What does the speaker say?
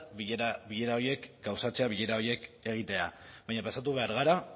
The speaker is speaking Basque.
bilera horiek gauzatzea bilera horiek egitea baina pasatu behar gara